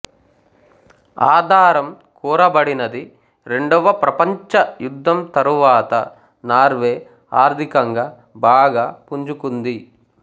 ఆధారం కోరబడినది రెండవ ప్రపంచ యుద్ధం తరువాత నార్వే ఆర్థికంగా బాగా పుంజుకుంది